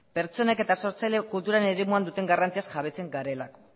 pertsonek eta sortzaileek kulturaren eremuan duten garrantziaz jabetzen garelako